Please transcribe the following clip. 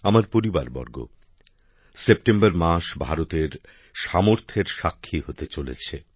আমার পরিবারবর্গ সেপ্টেম্বর মাস ভারতের সামর্থের সাক্ষী হতে চলেছে